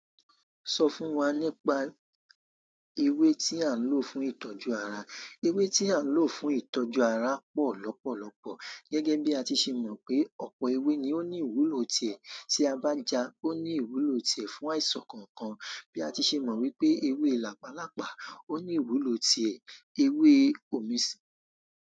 Sọ fún wa nípa ewé tí a ń lò fún ìtọ́jú ara. Ewé tí a ń lò fún ìtọ́jú ara pọ̀ lọ́pọ̀lọ́pọ̀. Gẹ́gẹ́ bí a ti ṣe mọ̀ pé ọ̀pọ̀ ewé ni ó ní ìwúlò tiẹ̀ tí a bá jà, ó ní ìwúlò tiẹ̀ fún àìsàn kọ̀ọ̀kan. Bí a ti ṣe mọ̀ wípé ewé làpálàpá ò ní ìwúlò tiẹ̀, ewé omi si.